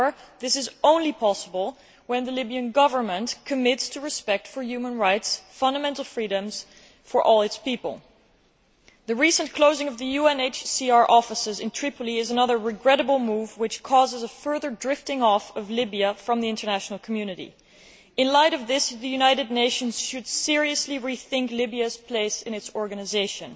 However, this is only possible when the Libyan Government commits to respect for human rights and fundamental freedoms for all its people. The recent closing of the UNHCR offices in Tripoli is another regrettable move which causes a further drifting off of Libya from the international community. In the light of this, the United Nations should seriously rethink Libya's place in its organisation.